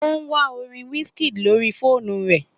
O ń wa orin wizkid lórí fóònù rẹ̀